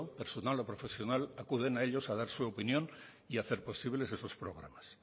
personal o profesional acuden a ellos a dar su opinión y hacer posibles sus programas